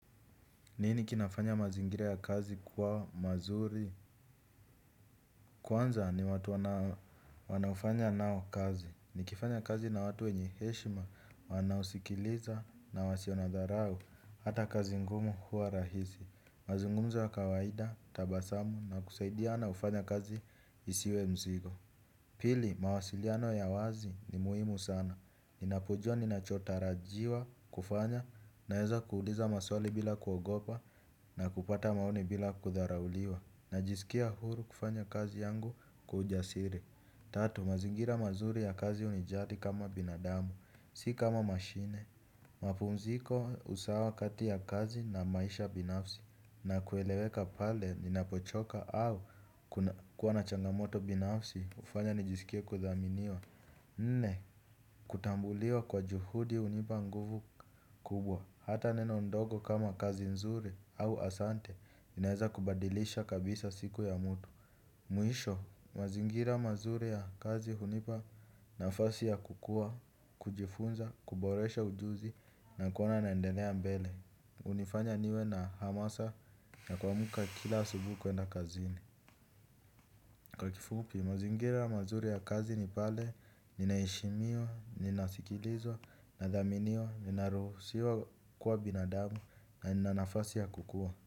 Nini kinafanya mazingira ya kazi kuwa mazuri? Kwanza ni watu wanaofanya nao kazi. Nikifanya kazi na watu wenye heshima wanaosikiliza na wasio na dharau hata kazi ngumu huwa rahisi. Mazungumzo ya kawaida, tabasamu na kusaidiana hufanya kazi isiwe mzigo. Pili, mawasiliano ya wazi ni muhimu sana. Ninapojua ninachotarajiwa kufanya naeza kuuliza maswali bila kuogopa na kupata maoni bila kudharauliwa. Najisikia huru kufanya kazi yangu kwa ujasiri. Tatu, mazingira mazuri ya kazi hunijali kama binadamu, si kama mashine. Mapumziko usawa kati ya kazi na maisha binafsi na kueleweka pale ninapochoka au kuwa na changamoto binafsi hufanya nijisikie kuthaminiwa. Nne, kutambuliwa kwa juhudi hunipa nguvu kubwa, hata neno ndogo kama kazi nzuri au asante, inaeza kubadilisha kabisa siku ya mtu. Mwisho, mazingira mazuri ya kazi hunipa nafasi ya kukua, kujifunza, kuboresha ujuzi na kuona naendelea mbele hunifanya niwe na hamasa ya kuamka kila asubuhi kuenda kazini. Kwa kifupi mazingira mazuri ya kazi ni pale, ninaheshimiwa, ninasikilizwa, nadhaminiwa, ninaruhusiwa kuwa binadamu, na nina nafasi ya kukua.